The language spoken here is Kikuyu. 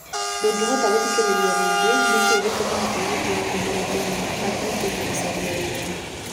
Ndũngĩhota gũthikĩrĩria rĩngĩ nĩ kĩĩ gĩtũmaga airĩtu a kuuma Uganda mathiĩ Kenya gũcaria wĩra?